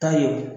Ta ye o